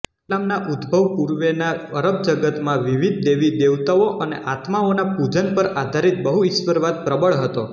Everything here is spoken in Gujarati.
ઇસ્લામના ઉદ્ભવ પૂર્વેનાં અરબ જગતમાં વિવિધ દેવીદેવતાઓ અને આત્માઓના પુજન પર આધારીત બહુઇશ્વરવાદ પ્રબળ હતો